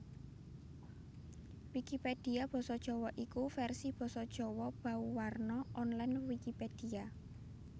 Wikipedia basa Jawa iku vèrsi basa Jawa bauwarna online Wikipedia